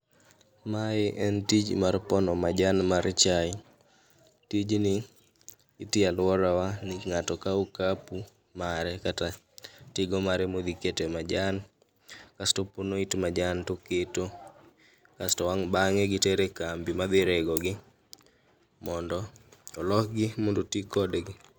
Mae en tij mar pono majan mar chae, tijni itiye alwora wa ni ng'ato kawo okapu mara kata tigo mare modhi kete majan. Kasto opono it majan toketo, kasto wang' bang'e gitere kambi ma dhi regogo. Mondo olokgi mondo oti kodgi.